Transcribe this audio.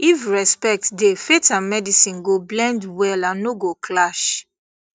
if respect dey faith and medicine go blend well and no go clash